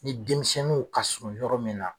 Ni denmisɛnninw ka surun yɔrɔ min na